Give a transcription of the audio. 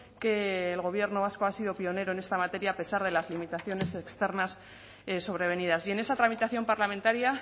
que el gobierno vasco ha sido pionero en esta materia a pesar de las limitaciones externas sobrevenidas y en esa tramitación parlamentaria